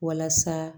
Walasa